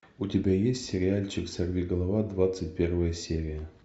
у тебя есть сериальчик сорвиголова двадцать первая серия